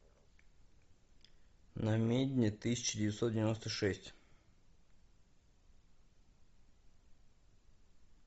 намедни тысяча девятьсот девяносто шесть